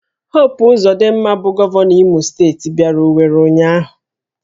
Hopu Ụzodịmma bụ Gọvanọ Imo steeti bịara Owere ụnyahụ